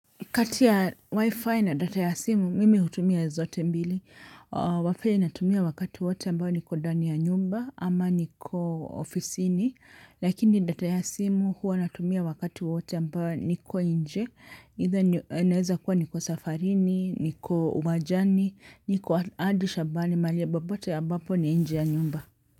Kati ya wifi na data ya simu, mimi hutumia zote mbili. Wifi natumia wakati wowote ambao niko dani ya nyumba ama niko ofisini. Lakini data ya simu hua natumia wakati wowote ambao niko inje. Ita naeza kuwa niko safarini, niko wajani, niko adi shabani, mali ya babote ambapo ni inje ya nyumba.